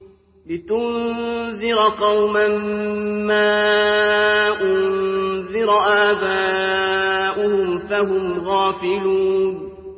لِتُنذِرَ قَوْمًا مَّا أُنذِرَ آبَاؤُهُمْ فَهُمْ غَافِلُونَ